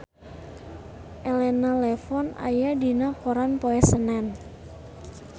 Elena Levon aya dina koran poe Senen